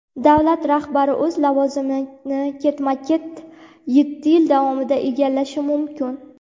davlat rahbari o‘z lavozimini ketma-ket yetti yil davomida egallashi mumkin.